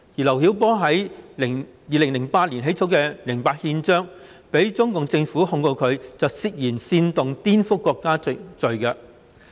劉曉波在2008年起草《零八憲章》，因而被中共政府控告他涉嫌煽動顛覆國家政權罪。